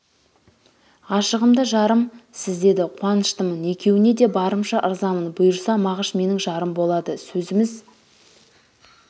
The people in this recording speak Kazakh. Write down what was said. ғашығым да жарым сіз деді қуаныштымын екеуіңе де барымша ырзамын бұйырса мағыш менің жарым болады сөзіміз